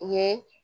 U ye